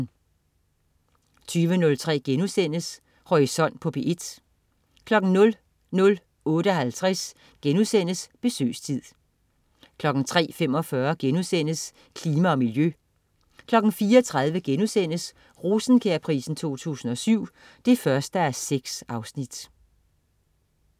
20.03 Horisont på P1* 00.58 Besøgstid* 03.45 Klima og miljø* 04.30 Rosenkjærprisen 2007 1:6*